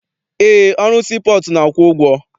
Eé, ọrụ sii pọọtụ na-akwụ ụgwọ.